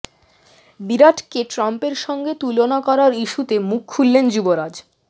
বিরাটকে ট্রাম্পের সঙ্গে তুলনা করার ইস্যুতে মুখ খুললেন যুবরাজ